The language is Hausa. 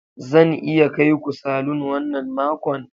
Zan iya kai ku salon wannan makon.